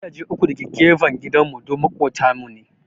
Gidaje uku da ke gefen gidan mu duk maƙotan mu ne